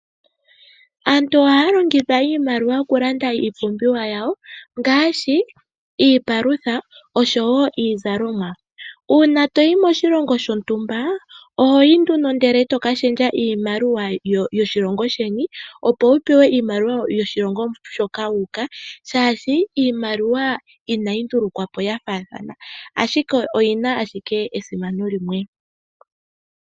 Aantu ohaya longitha iimaliwa oku landa iipumbiwa yawo ngaashi iipalutha oshowo iizalomwa. Uuna toyi moshilongo shontumba ohoyi nduno eto ka shendja iimaliwa yoshilongo sheni, opo wu pewe iimaliwa yoshilongo shoka wuuka, shaashi iimaliwa inayi ndulukwa po yafaathana ashike oyina esimano limwe.